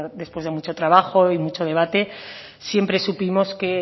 después de mucho trabajo y mucho debate siempre supimos que